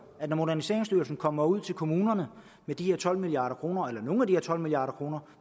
at når moderniseringsstyrelsen kommer ud til kommunerne med de her tolv milliard kroner eller nogle af de her tolv milliard kroner